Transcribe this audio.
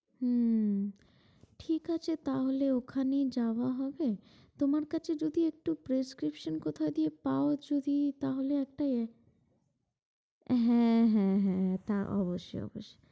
হম ঠিক আছে তাহলে ওখানেই যাওয়া হবে। তোমার কাছে যদি একটু prescription কথা দিয়েও পাও যদি তা হলে একটা হ্যাঁ হ্যাঁ হ্যাঁ হ্যাঁ অবশ্যই, অবশ্যই,